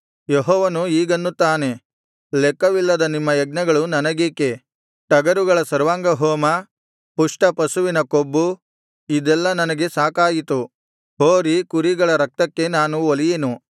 ಯೆಹೋವನು ಹೀಗೆನ್ನುತ್ತಾನೆ ಲೆಕ್ಕವಿಲ್ಲದ ನಿಮ್ಮ ಯಜ್ಞಗಳು ನನಗೇಕೆ ಟಗರುಗಳ ಸರ್ವಾಂಗ ಹೋಮ ಪುಷ್ಟಪಶುಗಳ ಕೊಬ್ಬು ಇದೆಲ್ಲಾ ನನಗೆ ಸಾಕಾಯಿತು ಹೋರಿ ಕುರಿಗಳ ರಕ್ತಕ್ಕೆ ನಾನು ಒಲಿಯೆನು